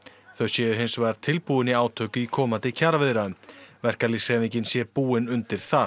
þau séu hins vegar tilbúin í átök í komandi kjaraviðræðum verkalýðshreyfingin sé búin undir það